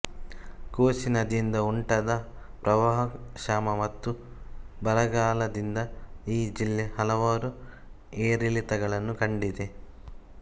ಕೋಸಿ ನದಿಯಿಂದ ಉಂಟಾದ ಪ್ರವಾಹ ಕ್ಷಾಮ ಮತ್ತು ಬರಗಾಲದಿಂದ ಈ ಜಿಲ್ಲೆ ಹಲವಾರು ಏರಿಳಿತಗಳನ್ನು ಕಂಡಿದೆ